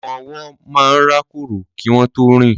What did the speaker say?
Ọmọ ọwọ́ máa ń rákórò kí wọn tó rìn